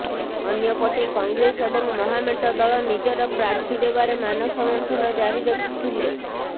ଅନ୍ୟପଟେ କଂଗ୍ରେସ ଏବଂ ମହାମେଣ୍ଟ ଦଳ ନିଜର ପ୍ରାର୍ଥୀ ଦେବାରେ ମାନସ ମନ୍ଥନ ଜାରି ରଖିଥିଲେ